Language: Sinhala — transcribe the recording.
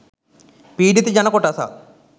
පීඩිත ජනකොටසක්